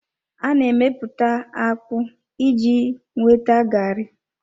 A na-emeputa akpu iji nweta garri.